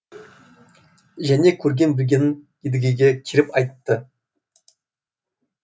және көрген білгенін едігеге келіп айтты